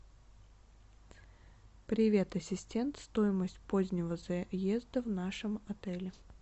привет ассистент стоимость позднего заезда в нашем отеле